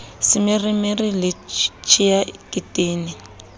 semeremere le tshea ke tene